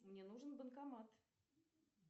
мне нужен банкомат